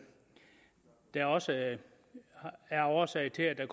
der også er er årsag til at